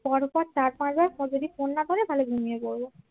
পরপর চার-পাঁচবার যদি ফোন না ধরে তাহলে ঘুমিয়ে পড়ব